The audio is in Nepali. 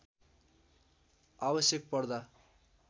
आवश्यक पर्दा